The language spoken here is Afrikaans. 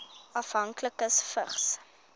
afhanklikes vigs